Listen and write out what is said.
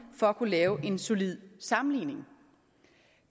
for at kunne lave en solid sammenligning